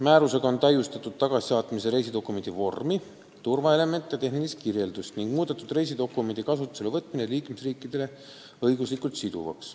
Määrusega on täiustatud tagasisaatmise reisidokumendi vormi, turvaelemente ja tehnilist kirjeldust ning muudetud reisidokumendi kasutusele võtmine liikmesriikidele õiguslikult siduvaks.